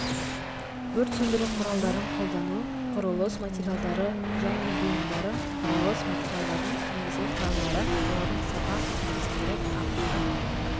өрт сөндіру құралдарын қолдану құрылыс материалдары және бұйымдары құрылыс материалдардың негізгі құрамдары олардың сапа көрсеткіштері ағаштан